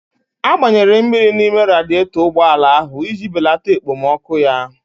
A gbanyere mmiri n'ime radietọ ụgbọala ahụ iji balata ekpomọkụ ya